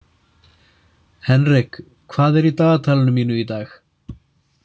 Henrik, hvað er í dagatalinu mínu í dag?